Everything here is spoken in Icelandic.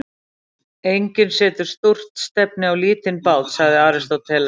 Enginn setur stórt stefni á lítinn bát, segir Aristóteles.